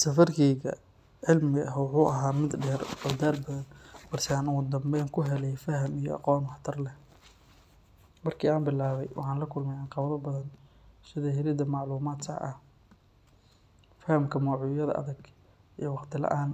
Safarkayga cilmiga ah wuxuu ahaa mid dheer oo daal badan, balse aan ugu dambeyn ku helay faham iyo aqoon waxtar leh. Markii aan bilaabay, waxaan la kulmay caqabado badan sida helidda macluumaad sax ah, fahamka mowduucyada adag iyo waqti la’aan.